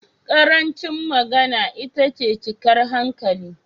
Ƙarancin magana itace cikar hankali.